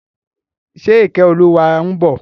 Ṣe Ìkẹ́olúwa ń bọ̀?